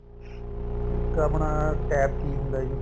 ਇੱਕ ਆਪਣਾ TABKEY ਹੁੰਦਾ ਜੀ